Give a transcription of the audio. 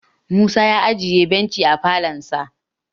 Musa ya ajiye benchi a falonsa